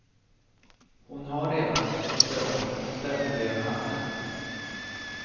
Hon har redan en syster och en moster med det namnet.